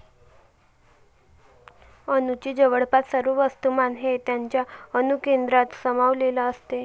अणूचे जवळपास सर्व वस्तूमान हे त्याच्या अणुकेंद्रकात सामावलेले असते.